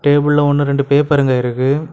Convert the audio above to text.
இதுக்குள்ள ஒன்னு ரெண்டு பேப்பருங்க இருக்கு.